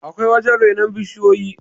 akwai wajen renon bishiyoyi